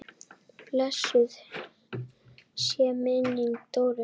Blessuð sé minning Dóru.